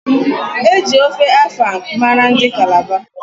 Eji ofe afang mara ndị Kalaba.